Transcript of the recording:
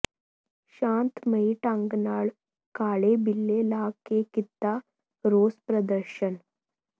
ਸ਼ਾਂਤਮਈ ਢੰਗ ਨਾਲ ਕਾਲੇ ਬਿਲੇ ਲਾ ਕੇ ਕੀਤਾ ਰੋਸ ਪ੍ਰਦਰਸ਼ਨ